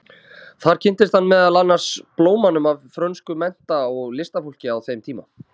Þar kynntist hann meðal annars blómanum af frönsku mennta- og listafólki á þeim tíma.